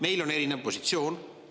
Meil on erinev positsioon.